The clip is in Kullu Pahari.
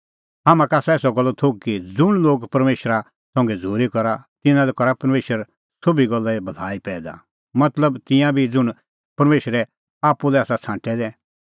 हाम्हां का आसा एसा गल्लो थोघ कि ज़ुंण लोग परमेशरा संघै झ़ूरी करा तिन्नां लै करा परमेशर सोभी गल्ला भलाई पैईदा मतलब तिंयां ई ज़ुंण परमेशरै आप्पू लै आसा छ़ांटै दै